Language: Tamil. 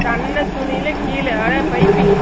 சன்னதுனில கீழ அத pipeing